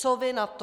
Co vy na to?